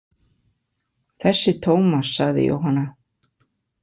Þessi Tómas, sagði Jóhanna.